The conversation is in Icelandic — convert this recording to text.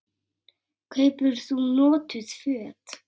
Kaupir þú notuð föt?